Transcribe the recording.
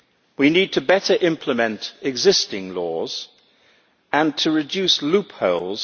We need to better implement existing laws and to reduce loopholes.